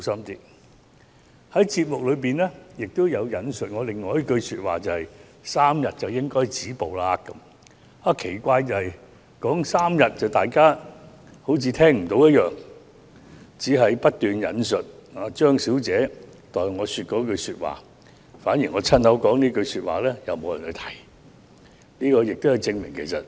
該節目亦有引述我所說的另一句話，就是 "3 天便應該止步"，但奇怪的是，當我提到3天時，大家卻似乎聽不到，只是不斷引述張小姐代我所說的那番話，我親口說的一句話卻反而沒有人提述。